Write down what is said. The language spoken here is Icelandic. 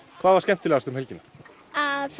hvað var skemmtilegast um helgina að fara